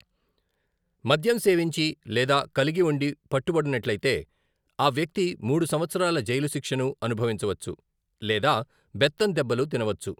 మద్యం సేవించి లేదా కలిగి ఉండి పట్టుబడినట్లైతే, ఆ వ్యక్తి మూడు సంవత్సరాల జైలు శిక్షను అనుభవించవచ్చు లేదా బెత్తం దెబ్బలు తినవచ్చు.